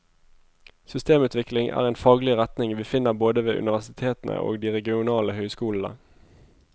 Systemutvikling er en faglig retning vi finner både ved universitetene og de regionale høyskolene.